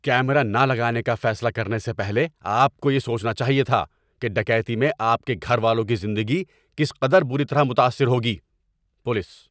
Camera نہ لگانے کا فیصلہ کرنے سے پہلے آپ کو یہ سوچنا چاہیے تھا کہ ڈکیتی میں آپ کے گھر والوں کی زندگی کس قدر بری طرح متاثر ہوگی۔ (پولیس)